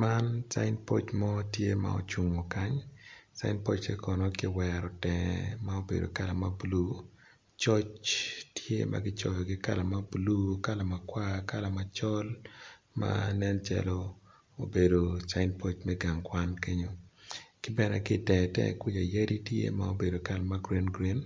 Man cin poc mo ma ocungo kany cine poce kono kiwere tenge ki kala ma blu coc tye ma kicoyo itenge kikala ma blue, kala macol nen calo obedo cin poc me gang kwan ki bene ki tenge tenge kwica yadi tye ma obedo kala ma gurin gurin